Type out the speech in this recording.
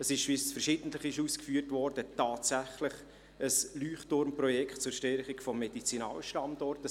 – Wie verschiedentlich ausgeführt worden ist, handelt es sich tatsächlich um ein Leuchtturmprojekt zur Stärkung des Medizinalstandorts.